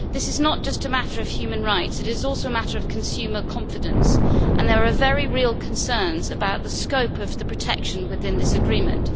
This is not just a matter of human rights, it is also a matter of consumer confidence, and there are very real concerns about the scope of the protection within this agreement.